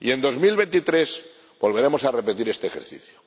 Y, en 2023, volveremos a repetir este ejercicio.